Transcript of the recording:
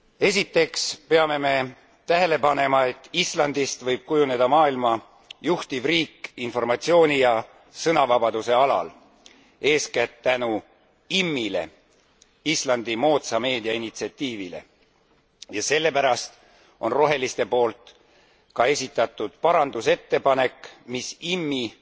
Esiteks peame me tähele panema, et Islandist võib kujuneda maailma juhtiv riik informatsiooni ja sõnavabaduse alal, eeskätt tänu IMMI le Islandi moodsa meedia initsiatiivile ja sellepärast on roheliste poolt ka esitatud muudatusettepanek, mis IMMI